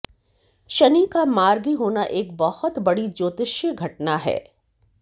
शनि का मार्गी होना एक बहुत बड़ी ज्योतिष्य घटना है